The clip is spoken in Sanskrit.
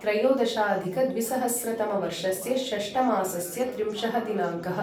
त्रयोदशाधिकद्विसहस्रतमवर्षस्य षष्टमासस्य त्रिंशः दिनाङ्कः